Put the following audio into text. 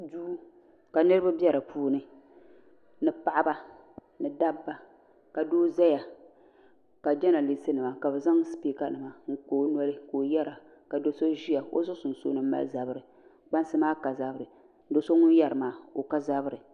Duu ka niriba be dipuuni ni paɣaba ni dabba ka doo zaya ka jenalisi nima ka bɛ zaŋ sipiika nima n zaŋ kpa o noli ka o yera ka do'so ʒia o zuɣu sunsuuni mali zabiri kpansi maa ka zabiri do'so ŋun yeri maa o ka zabiri.